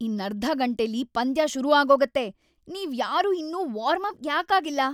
ಇನ್ನರ್ಧ ಗಂಟೆಲಿ ಪಂದ್ಯ ಶುರು ಆಗೋಗತ್ತೆ. ನೀವ್ಯಾರೂ ಇನ್ನೂ ವಾರ್ಮಪ್ ಯಾಕ್ ಆಗಿಲ್ಲ?